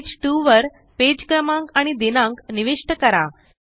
page two वर page क्रमांक आणि दिनांक निविष्ट करा